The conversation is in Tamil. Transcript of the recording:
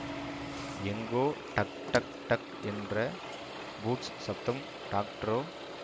எங்கோ டக் டக் டக் என்ற பூட்ஸ் சப்தம் டாக்டரோ